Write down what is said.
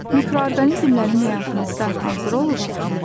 Mikroorqanizmlərin həyatımızda hansı rolu var?